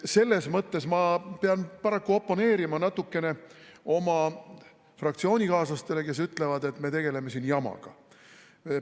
Selles mõttes pean ma paraku oponeerima natukene oma fraktsioonikaaslastele, kes ütlevad, et me tegeleme siin jamaga.